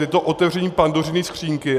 Je to otevření Pandořiny skříňky.